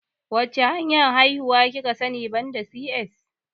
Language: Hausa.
Wacce hanyar haihuwa kika sani banda C.S?